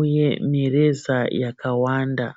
uye mireza yakawanda.